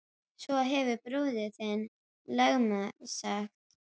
Svo hefur bróðir þinn lögmaðurinn sagt!